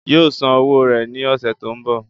yóò san owó rẹ̀ ní ọ̀sẹ̀ tó ń bọ̀